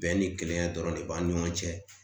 Bɛn ni kelenya dɔrɔn de b'an ni ɲɔgɔn cɛ